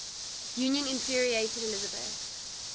union infuriated elizabeth